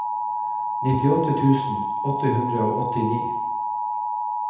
nittiåtte tusen åtte hundre og åttini